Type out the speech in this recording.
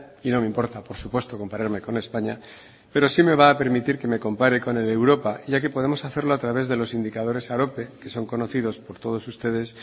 y no me importa por supuesto compararme con españa pero sí me va a permitir que me compare con el de europa ya que podemos hacerlo a través de los indicadores arope que son conocidos por todos ustedes